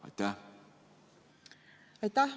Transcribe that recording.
Aitäh!